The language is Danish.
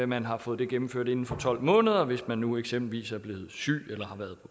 man har fået det gennemført inden for tolv måneder hvis man nu eksempelvis er blevet syg eller har været